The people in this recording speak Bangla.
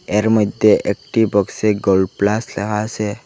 এর মইধ্যে একটি বক্সে গোল্ড প্লাস লেখা আসে।